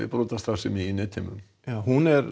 brotastarfsemi í netheimum hún er